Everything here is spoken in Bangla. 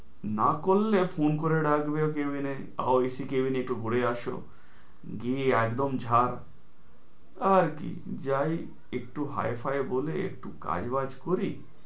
না করলে phone করে ডাকবে cabin এ আবার ac cabin এ একটু ঘুরে আসো গিয়ে একদম ঝাঁপ আবার কি যাই একটু hi ফায় বলে একটু কাজ-বাজ করি,